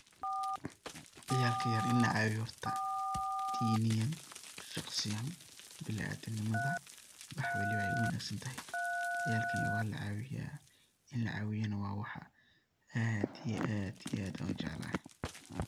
Ciyalka yar in lacawiyo horta diniyan, shaqsiyan, biniadam nimadha wax waliba wey uwanagsantahay, ciyalka yar walacawiya in lacawiyana wa wax an aad iyo aad ujcelahay.